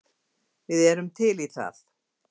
Við erum til í það!